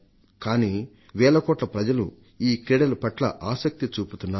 కానీ వేల కోట్ల ప్రజలు ఈ క్రీడల పట్ల ఆసక్తి చూపుతున్నారు